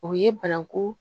O ye bananku